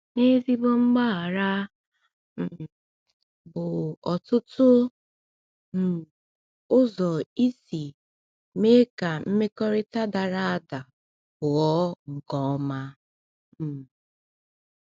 N’ezigbo mgbaghara um bụ ọtụtụ um mgbe ụzọ isi mee ka mmekọrịta dara ada ghọọ nke ọma. um